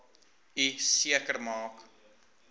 u seker maak